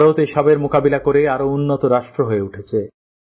ভারত এ সবের মোকাবিলা করে আরও উন্নত রাষ্ট্র হয়ে উঠেছে